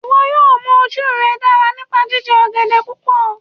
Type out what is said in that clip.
Iwọ yóò mú oju rẹ dara nipa jijẹ ogede pupọ